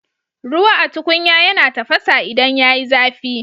Ruwa a tukunya yana tafasa idan yayi zafi